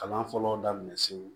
Kalan fɔlɔ daminɛ se